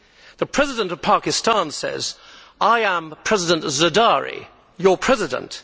The President of Pakistan says I am President Zardari, your President.